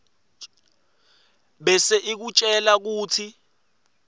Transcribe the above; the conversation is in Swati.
bese ikutjela kutsi